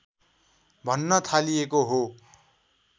भन्न थालिएको हो